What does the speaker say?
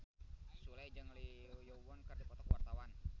Sule jeung Lee Yo Won keur dipoto ku wartawan